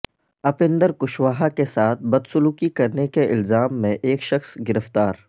اپیندر کشواہا کے ساتھ بدسلوکی کرنے کے الزام میں ایک شخص گرفتار